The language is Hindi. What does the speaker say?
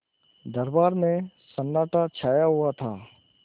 दरबार में सन्नाटा छाया हुआ था